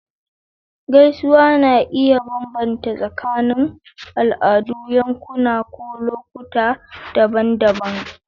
Gaisuwa na iya bambanta tsakanin al'adu, yankuna, ko lokuta daban-daban.